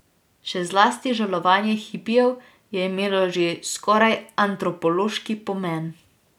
Še zlasti žalovanje hipijev je imelo že skoraj antropološki pomen.